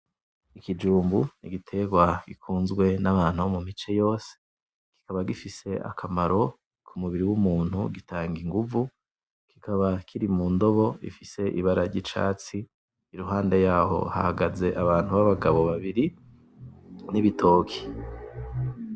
Ikijumbu n'igitegwa gikunzwe n'abantu bo mu mice yose kikaba gifise akamaro k'umubiri w'umuntu gitanga inguvu kikaba kiri mu ndobo ifise ibara ry'icatsi iruhande yaho hahagaze abantu b'abagabo babiri, n'ibitoki.